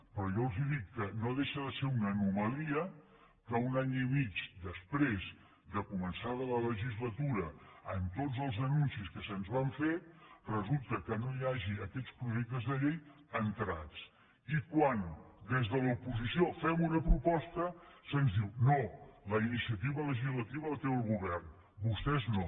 però jo els dic que no deixa de ser una anomalia que un any i mig després de començada la legislatura amb tots els anuncis que se’ns van fer resulta que no hi hagi aquests projectes de llei entrats i quan des de l’oposició fem una proposta se’ns diu no la inicia·tiva legislativa la té el govern vostès no